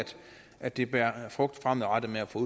at det bærer frugt fremadrettet med at få